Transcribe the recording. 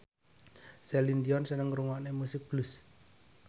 Celine Dion seneng ngrungokne musik blues